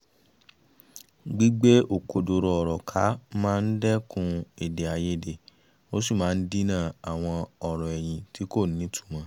gbígbé òkodoro ọ̀rọ̀ ká máa ń dẹ́kun èdèàìyedè ó sì máa ń dínà àwọn ọ̀rọ̀ ẹ̀yìn tí kò nítumọ̀